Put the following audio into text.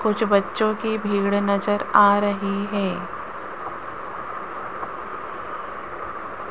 कुछ बच्चों की भीड़ नजर आ रही है।